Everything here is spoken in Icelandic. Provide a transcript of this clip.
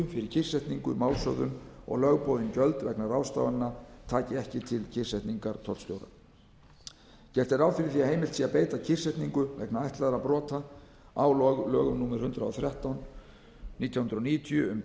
fyrir kyrrsetningu málshöfðun og lögboðin gjöld vegna ráðstafana taki ekki til kyrrsetningar tollstjóra gert er ráð fyrir því að heimilt sé að beita kyrrsetningu vegna ætlaðra brota á lögum númer hundrað og þrettán nítján hundruð níutíu um